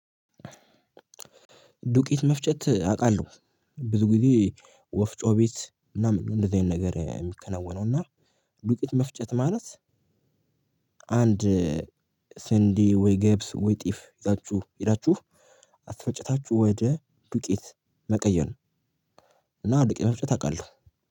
ዱቄት መፍጨት አውቃለሁ። ብዙ ጊዜ ወፍጮ ቤት ምናምን እንደዚህ አይነት ነገር የሚከናወነው እና ዱቂት መፍጨት ማለት አንድ ስንዴ ወይ ገብስ ወይ ጤፍ ይዛችሁ ሄዳችሁ፣ አስፈጭታችሁ ወደ ዱቄት መቀየር ነው፤ እና ዱቄት መፍጨት አውቃለሁ።